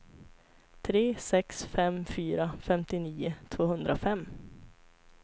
tre sex fem fyra femtionio tvåhundrafem